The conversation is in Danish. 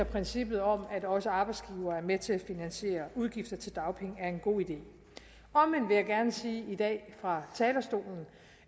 princippet om at også arbejdsgivere er med til at finansiere udgifter til dagpenge er en god idé omvendt vil jeg gerne sige i dag fra talerstolen